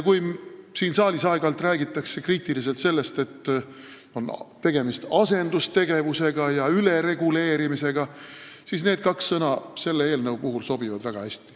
Kui siin saalis aeg-ajalt räägitakse kriitiliselt sellest, et on tegemist asendustegevuse ja ülereguleerimisega, siis selle eelnõu kohta sobivad need kaks sõna väga hästi.